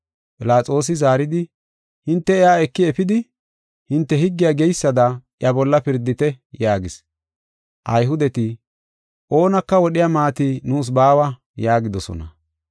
Philaxoosi zaaridi, “Hinte iya eki efidi, hinte higgey geysada iya bolla pirdite” yaagis. Ayhudeti, “Oonaka wodhiya maati nuus baawa” yaagidosona;